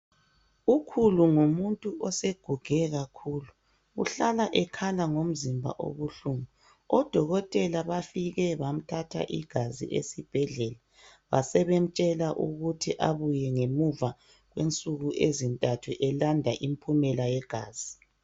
Ukhulu ngumuntu oseguge kakhulu uhlala ekhala ngomzimba ubuhlungu odokotela bafike bamthatha igazi esibhedlela basebemtshela ukuthi abuye ngemuva kwensuku ezintathu elanda impumela yegazi.